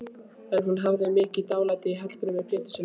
En hún hafði mikið dálæti á Hallgrími Péturssyni.